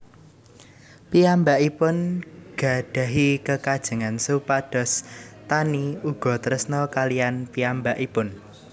Piyambakipun gadhahi kekajengan supados Taani uga tresna kaliyan piyambakipun